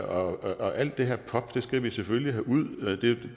og alt det her pop skal vi selvfølgelig have ud det